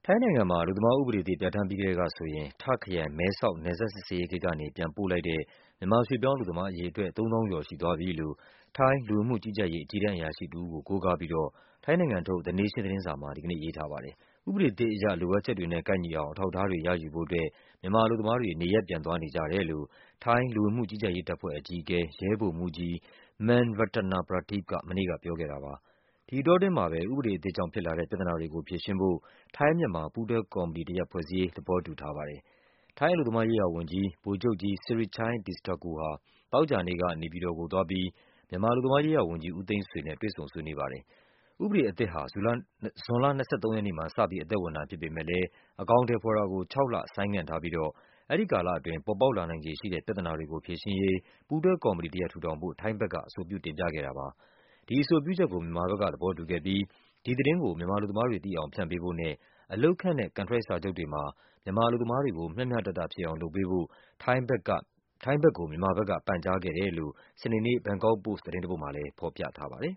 ိုင်းနိုင်ငံမှာ အလုပ်သမားဥပဒေသစ် ပြဌာန်းပြီးကတည်းကဆိုရင် တာ့ခ်ခရိုင်၊ မဲဆောက် နယ်စပ်စစ်ဆေးရေး ဂိတ်ကနေ ပြန်ပို့ လိုက်တဲ့ မြန်မာရွှေ့ပြောင်း အလုပ်သမားအရေ အတွက် ၃ သောင်းကျော် ရှိသွားပြီလို့ ထိုင်း လူဝင်မှုကြီးကြပ်ရေး အကြီးတန်း အရာရှိ တဦးကို ကိုးကားပြီးတော့ ထိုင်းနိုင်ငံထုတ် The Nation သတင်းစာမှာ ဒီနေ့ရေးထား ပါတယ်။ ဥပဒေအသစ်အရ လိုအပ်ချက်တွေနဲ့ ကိုက်ညီအောင် အထောက်အထားတွေ ရယူဖို့ အတွက် မြန်မာအလုပ်သမားတွေ နေရပ် ပြန် သွားနေကြတယ်လို့ ထိုင်းလူဝင်မှု ကြီးကြပ်ရေး တပ်ဖွဲ့အကြီးအကဲ ရဲဗိုလ်မှူးကြီး Man Ratanaprateep က မနေ့က ပြောခဲ့တာပါ။ ဒီအတောအတွင်းမှာပဲ ဥပဒေအသစ်ကြောင့် ဖြစ်လာတဲ့ ပြဿနာတွေကိုဖြေရှင်းဖို့ ထိုင်း-မြန်မာ ပူးတွဲကော်မတီတရပ် ဖွဲ့စည်းရေး သဘောတူထားပါတယ်။ ထိုင်း အလုပ်သမားရေးရာဝန်ကြီး ဗိုလ်ချုပ်ကြီး Sirichai Distakul ဟာ သောကြာနေ့က နေပြည်တော်ကိုသွားပြီး မြန်မာ အလုပ် သမားရေးရာဝန်ကြီး ဦးသိန်းဆွေနဲ့ တွေ့ဆုံ ဆွေးနွေးပါတယ်။ ဥပေဒအသစ်ဟာ ဇွန်လ ၂၃ ရက်နေ့မှာ စပြီး အသက်ဝင်တာဖြစ်ပေမဲ့လဲ အကောင် အထည်ဖော်တာကို ခြောက်လ ဆိုင်းငံ့ထား ပြီးတော့ အဲဒီကာလအတွင်း ပေါ်ပေါက် လာနိုင်ခြေရှိတဲ့ ပြဿနာတွေကိုဖြေရှင်းရေး ပူးတွဲကော်မတီတရပ် ထူထောင်ဖို့ ထိုင်းဘက်က အဆိုပြုတင်ပြခဲ့တာပါ။ ဒီအဆိုပြုချက်ကို မြန်မာဘက်ကသဘောတူခဲ့ပြီး ဒီသတင်းကို မြန်မာ အလုပ်သမားတွေ သိအောင် ဖြန့်ပေးဖို့နဲ့ အလုပ်ခန့်ထားတဲ့ ကန်ထရိုက်စာချုပ်တွေမှာ မြန်မာအလုပ်သမား တွေကို မျှမျှတတဖြစ်အောင် လုပ်ပေးဖို့ ထိုင်းဘက်ကို မြန်မာဘက်က ပန်ကြားခဲ့ တယ်လို့ စနေနေ့ ဘန်ကောက်ပို့စ် သတင်းတပုဒ်မှာလဲ ဖော်ပြထားပါတယ်